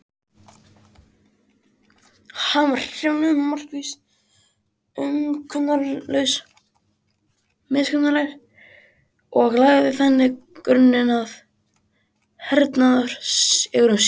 Hann var hreyfanlegur, markviss og miskunnarlaus og lagði þannig grunninn að hernaðarsigrum sínum.